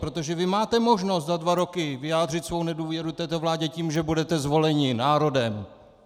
Protože vy máte možnost za dva roky vyjádřit svou nedůvěru této vládě tím, že budete zvoleni národem!